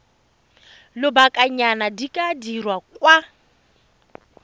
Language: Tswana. lobakanyana di ka dirwa kwa